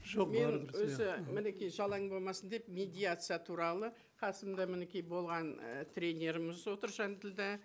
жоқ мен өзі мінеки жалаң болмасын деп медиация туралы қасымда мінеки болған і тренеріміз отыр жанділдә